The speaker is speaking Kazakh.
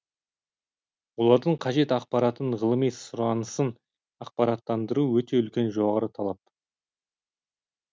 олардың қажет ақпаратын ғылыми сұранысын ақпараттандыру өте үлкен жоғары талап